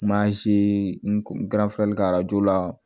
Mansin garsi kɛ la